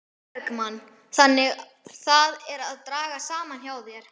Sólveig Bergmann: Þannig það er að draga saman hjá þér?